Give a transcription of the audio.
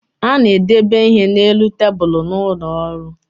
A na-edebe ihe na-elu tabulu n’ụlọọrụ